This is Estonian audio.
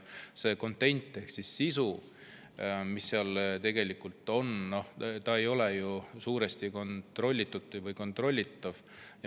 See content ehk sisu, mis seal on, suuresti ei ole ju kontrollitud või kontrollitav.